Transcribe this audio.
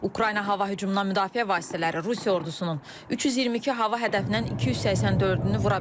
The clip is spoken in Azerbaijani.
Ukrayna hava hücumundan müdafiə vasitələri Rusiya ordusunun 322 hava hədəfindən 284-ünü vura bilib.